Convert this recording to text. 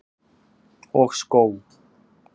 Og skó.